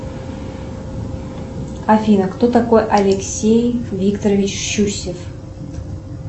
афина кто такой алексей викторович щусев